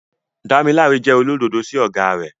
Damilare jẹ́ olódodo sí ọ̀gá rẹ̀.